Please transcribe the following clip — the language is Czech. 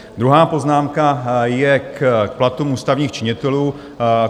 Druhá poznámka je k platům ústavních činitelů.